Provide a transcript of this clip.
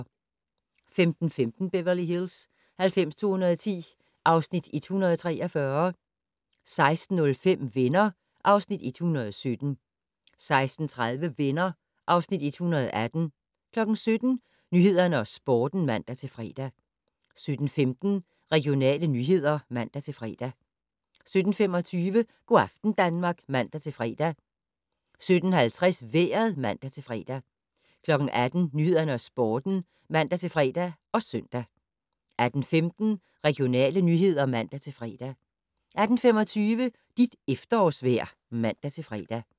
15:15: Beverly Hills 90210 (Afs. 143) 16:05: Venner (Afs. 117) 16:30: Venner (Afs. 118) 17:00: Nyhederne og Sporten (man-fre) 17:15: Regionale nyheder (man-fre) 17:25: Go' aften Danmark (man-fre) 17:50: Vejret (man-fre) 18:00: Nyhederne og Sporten (man-fre og søn) 18:15: Regionale nyheder (man-fre) 18:25: Dit efterårsvejr (man-fre)